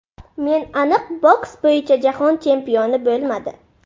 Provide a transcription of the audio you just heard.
Men aniq boks bo‘yicha Jahon chempioni bo‘lmadi.